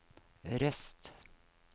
Røst